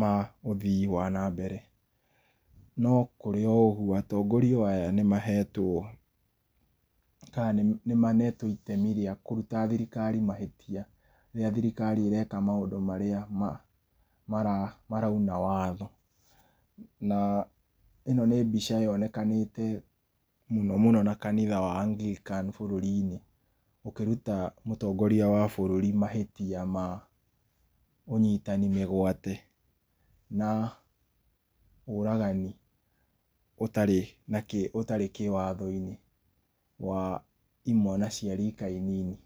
ma ũthii wa na mbere. No kũrĩ o ũgũo atongoria o aya nĩ mahetwo kana nĩ manetwo itemi rĩa kũrũta thirikari mahĩtia rĩrĩa thirikari ĩreka mũndũ maria ma mara maraĩna watho na ĩno nĩ mbica yonekanĩte mũno mũno na kanitha wa Agrican bũrũri inĩ ũkĩrũta mũtongoria wa bũrũrĩ mahĩtia ma ũnyitani mĩgwate na ũragani ũtarĩ ũtarĩ kĩwatho inĩ wa i mwana cia rika inini.